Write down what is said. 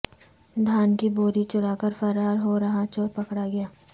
دھان کی بوری چرا کر فرار ہو رہا چور پکڑا گیا